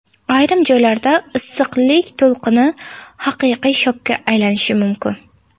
Ayrim joylarda issiqlik to‘lqini haqiqiy shokka aylanishi mumkin.